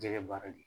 Jɛgɛ baara de